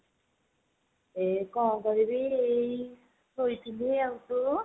ଏ କଣ କରିବି ଏଇ ଶୋଇଥିଲି ଆଉ ତୁ?